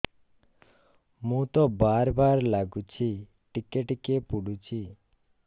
ମୁତ ବାର୍ ବାର୍ ଲାଗୁଚି ଟିକେ ଟିକେ ପୁଡୁଚି